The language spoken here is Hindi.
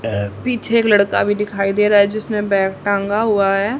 पीछे एक लड़का दिखाई दे रहा है जिसने बैग टांगा हुआ है।